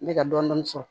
N bɛ ka dɔɔnin dɔɔnin sɔrɔ